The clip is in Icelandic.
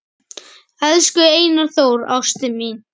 Elsku Einar Þór, ástin mín